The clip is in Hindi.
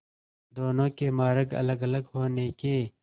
दोनों के मार्ग अलगअलग होने के